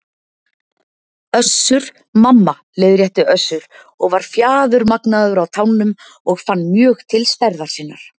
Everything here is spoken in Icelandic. Össur- Mamma, leiðrétti Össur og var fjaðurmagnaður á tánum og fann mjög til stærðar sinnar.